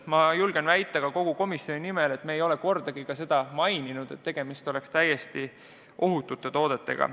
Ma julgen väita ka komisjoni nimel, et me ei ole kordagi viidanud, et tegemist on täiesti ohutute toodetega.